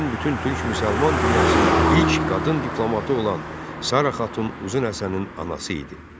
Şərqin bütün türk-müsəlman dünyasının ilk qadın diplomatı olan Sara Xatun Uzun Həsənin anası idi.